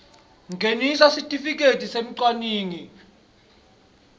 ngenisa sitifiketi semcwaningi